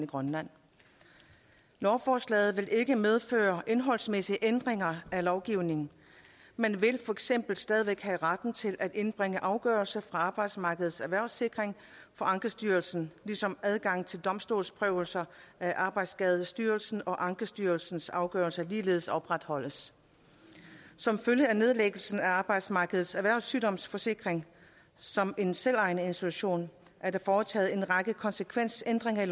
grønland lovforslaget vil ikke medføre indholdsmæssige ændringer af lovgivningen man vil for eksempel stadig væk have ret til at indbringe afgørelser fra arbejdsmarkedets erhvervssikring for ankestyrelsen ligesom adgangen til domstolsprøvelse af arbejdsskadestyrelsens og ankestyrelsens afgørelser ligeledes opretholdes som følge af nedlæggelsen af arbejdsmarkedets erhvervssygdomssikring som en selvejende institution er der foretaget en række konsekvensændringer af